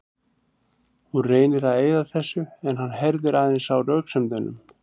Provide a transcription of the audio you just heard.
Hún reynir að eyða þessu en hann herðir aðeins á röksemdunum.